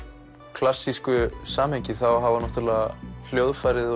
klassísku samhengi hafa náttúrulega hljóðfærið og